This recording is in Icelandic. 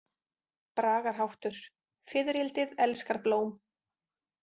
Bragarháttur: „Fiðrildið elskar blóm“.